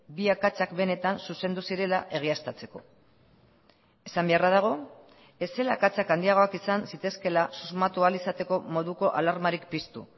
bi akatsak benetan zuzendu zirela egiaztatzeko esan beharra dago ez zela akatsak handiagoak izan zitezkeela susmatu ahal izateko moduko alarmarik piztu